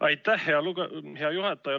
Aitäh, hea juhataja!